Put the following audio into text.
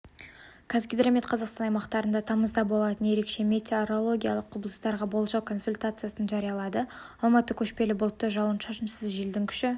қазгидромет қазақстан аймақтарында тамызда болатын ерекше метеорологиялық құбылыстарға болжау-консультациясын жариялады алматы көшпелі бұлтты жауын-шашынсыз желдің күші